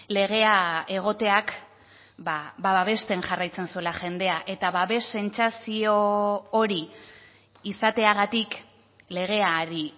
legea egoteak babesten jarraitzen zuela jendea eta babes sentsazio hori izateagatik legeari